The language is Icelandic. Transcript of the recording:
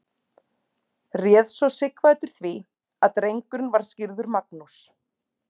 Réð svo Sighvatur því að drengurinn var skírður Magnús.